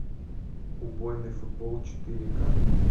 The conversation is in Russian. убойный футбол четыре ка